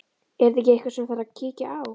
Er þetta ekki eitthvað sem að þarf að kíkja á?